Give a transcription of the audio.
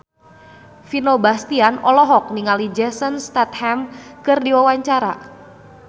Vino Bastian olohok ningali Jason Statham keur diwawancara